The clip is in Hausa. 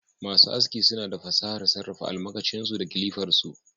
Masu aski suna da fasahar sarrafa almakashin su da kilifar su